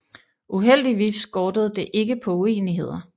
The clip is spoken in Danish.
Uheldigvis skortede det ikke på uenigheder